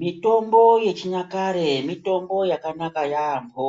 Mitombo yechinyakare mitombo yakanaka yambo